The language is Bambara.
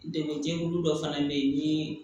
Degun jɛkulu dɔ fana bɛ yen ni